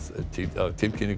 að tilkynningunum